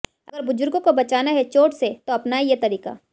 अगर बुजुर्गों को बचाना है चोट से तो अपनाएं ये तरीका